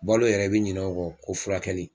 Balo yɛrɛ i bi ɲinɛ o kɔ ko furakɛli